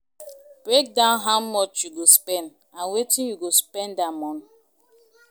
Break down how much you go spend and wetin you go spend am on